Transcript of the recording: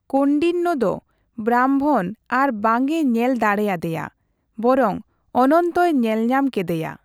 ᱠᱳᱱᱰᱤᱱᱱᱚ ᱫᱚ ᱵᱨᱟᱢᱵᱷᱚᱱ ᱟᱨ ᱵᱟᱝ ᱮ ᱧᱮᱞ ᱫᱟᱲᱮ ᱟᱫᱮᱭᱟ ᱵᱚᱨᱚᱝ ᱚᱱᱚᱱᱛᱚᱭ ᱧᱮᱞ ᱧᱟᱢ ᱠᱮᱫᱮᱭᱟ ᱾